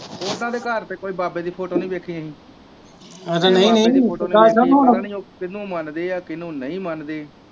ਉਹਨਾਂ ਦੇ ਘਰ ਤੇ ਕੋਈ ਬਾਬੇ ਦੀ ਫੋਟੋ ਨੀ ਵੇਖੀ ਅਸੀ ਪਤਾ ਨੀ ਉਹ ਕਿਨੂੰ ਮੰਨਦੇ ਆ ਕਿਨੂੰ ਨਹੀਂ ਮੰਨਦੇ।